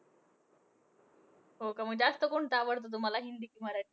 हो का मग जास्त कोणतं आवडतं तुम्हांला हिंदी कि मराठी?